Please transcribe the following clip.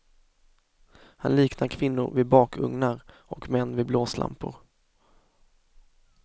Han liknar kvinnor vid bakugnar och män vid blåslampor.